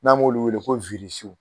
N'an b'olu weele ko w